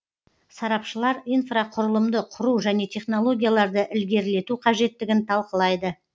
сарапшылар инфрақұрылымды құру және технологияларды ілгерілету қажеттігін талқылайды